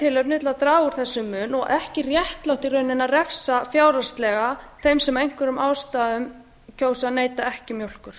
tilefni til að draga úr þessum mun og ekki réttlátt í rauninni að refsa fjárhagslega þeim sem af einhverjum ástæðum kjósa að neyta ekki mjólkur